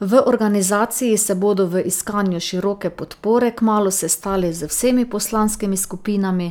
V organizaciji se bodo v iskanju široke podpore kmalu sestali z vsemi poslanskimi skupinami